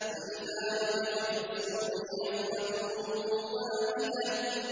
فَإِذَا نُفِخَ فِي الصُّورِ نَفْخَةٌ وَاحِدَةٌ